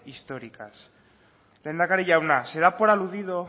históricas lehendakari jauna se da por aludido